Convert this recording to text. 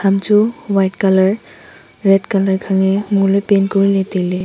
ham chu white colour red colour khange mo le paint kori ley tai ley.